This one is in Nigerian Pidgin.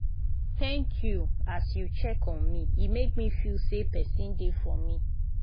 thank you as you check on me e make me feel sey person dey for me.